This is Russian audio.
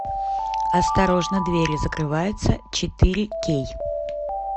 осторожно двери закрываются четыре кей